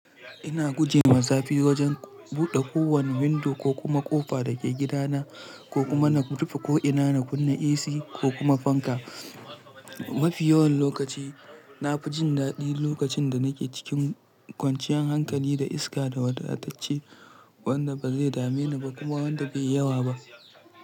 Ina guje wa zafi wajen buɗe kowane window ko kuma ƙofa da ke gida na, ko kuma na rufe ko'ina na kunna AC ko kuma fanka. Mafi yawan lokaci, na fi jin daɗi lokacin da nake cikin kwanciyan hankali da iska da wadatacce wanda ba zai dame ni ba kuma wanda bai yi yawa ba.